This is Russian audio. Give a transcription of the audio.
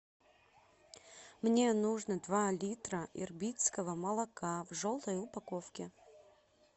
мне нужно два литра ирбитского молока в желтой упаковке